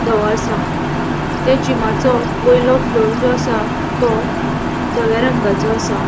दोवों आसा ते जिमाचो वयलो फ्लोर जो आसा तो दोव्या रंगाचो आसा.